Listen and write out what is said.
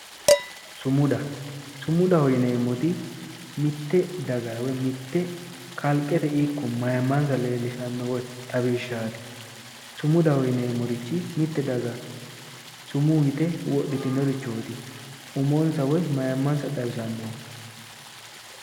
Sumuda, sumudaho yineemoti mitte dagara woy mitte kalqete ikko mayiimansa leelishshanno woy xawishaati. Sumudaho yineemorich mitte daga sumuu yitte wodhitinnorichooti. umonsa woyi mayiimansa xawisanoho.